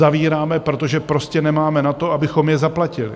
Zavíráme, protože prostě nemáme na to, abychom je zaplatili.